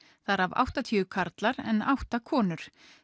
þar af áttatíu karlar en átta konur